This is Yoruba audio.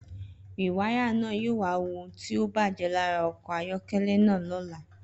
Rìwáyà náà yóò wá wo ohun tí ó bàjé lára okò ayókélé náà lóla